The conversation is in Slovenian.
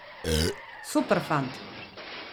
Super fant!